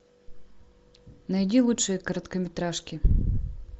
найди лучшие короткометражки